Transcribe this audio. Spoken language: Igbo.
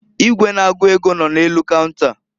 Igwe na-agụ ego nọ n'elu kaunta.